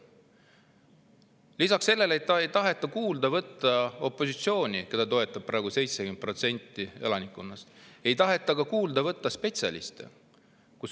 Lisaks sellele, et ei taheta kuulda võtta opositsiooni, keda toetab praegu 70% elanikkonnast, ei taheta kuulda võtta ka spetsialiste.